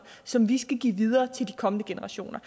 som vi skal give videre til de kommende generationer